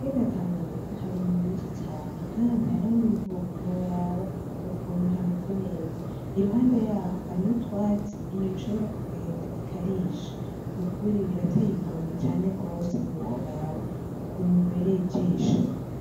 Ku kiyaga Tanganyika hari inyoni nyinshi cane Kandi hariho n’imvubu ntiworaba ukuntu hameze neza , iruhande yaho hariho utwatsi inyoni ishobora kugenda ikarisha . Nukuri birateye igomwe cane gose ntiworaba ukuntu bihereye ijisho.